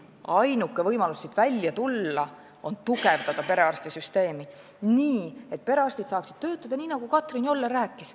Ainuke võimalus siit välja tulla on tugevdada perearstisüsteemi, et perearstid saaksid töötada nii, nagu Karmen Joller rääkis.